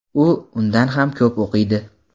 u undan ham ko‘p o‘qiydi.